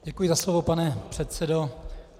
Děkuji za slovo, pane předsedo.